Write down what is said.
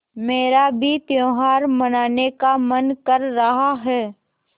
मेरा भी त्यौहार मनाने का मन कर रहा है